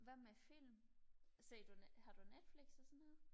hvad med film ser du har du netflix og sådan noget